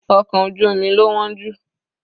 Ọkọ̀ ojú omi lo wọ́n jù.